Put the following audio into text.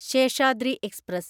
Seshadri express